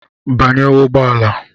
Banye ụgbọ ala.